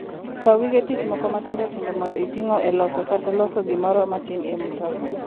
Kaw gige tich moko matindo tindo mondo itigo e loso kata loso gimoro matin e mtoka.